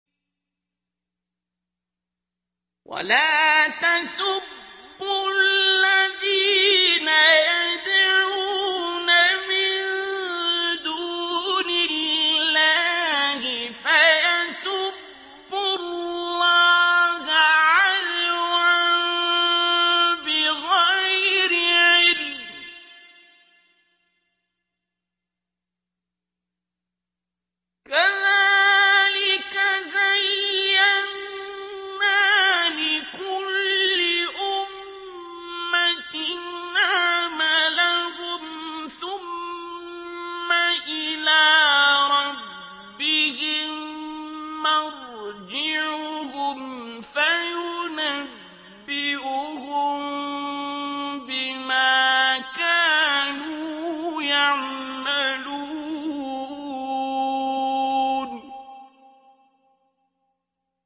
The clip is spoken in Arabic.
وَلَا تَسُبُّوا الَّذِينَ يَدْعُونَ مِن دُونِ اللَّهِ فَيَسُبُّوا اللَّهَ عَدْوًا بِغَيْرِ عِلْمٍ ۗ كَذَٰلِكَ زَيَّنَّا لِكُلِّ أُمَّةٍ عَمَلَهُمْ ثُمَّ إِلَىٰ رَبِّهِم مَّرْجِعُهُمْ فَيُنَبِّئُهُم بِمَا كَانُوا يَعْمَلُونَ